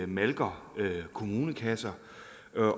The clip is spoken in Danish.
malker kommunekasser